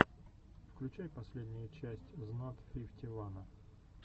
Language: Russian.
включай последнюю часть знат фифти вана